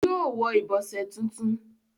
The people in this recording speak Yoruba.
yóò wọ ìbọ̀sẹ̀ tuntun.